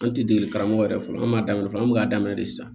An ti dege karamɔgɔ yɛrɛ fɔlɔ fɔlɔ an b'a daminɛ fɔlɔ an be k'a daminɛ de sisan